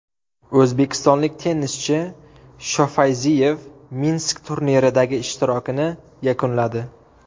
O‘zbekistonlik tennischi Shofayziyev Minsk turniridagi ishtirokini yakunladi.